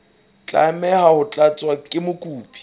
tlameha ho tlatswa ke mokopi